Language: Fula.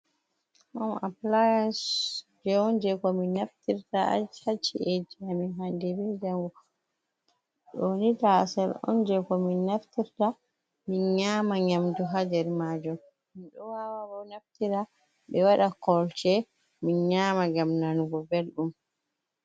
Home appliance kujeji on je ko min naftirta ha ci’eji amin hande be jango ɗo ni taasel on je ko min naftirta min nyama nyamdu ha nder majum, min ɗo wawa bo naftira be waɗa kolce min nyama ngam nanugo belɗum.